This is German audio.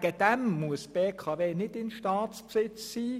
Dienstleistungen muss die BKW nicht in Staatsbesitz sein.